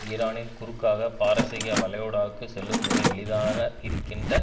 ஈரானின் குறுக்காக பாரசீக வளைகுடாவுக்கு செல்லும் மிக எளிதான இருக்கின்ற